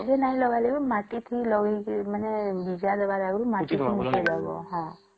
ଗଛ ରେ ନାଇଁ ଲାଜେଇବା ମାଟି ଥି ଲଗେଇକିରି ମାନେ ଜିଆ ଦବ ଆଗରୁ ମାଟି କୁ ମିଶେଇ ଦବ